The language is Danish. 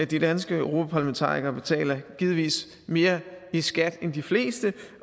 de danske europarlamentarikere betaler givetvis mere i skat end de fleste